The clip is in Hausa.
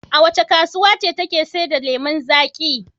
Wace kasuwa ce take sayar da lemon zaƙi?